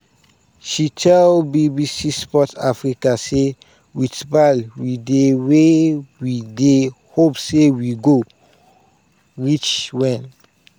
she tell bbc sport africa say "wit bal we dey wia we dey hope say we go reach wen